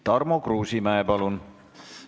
Tarmo Kruusimäe, palun!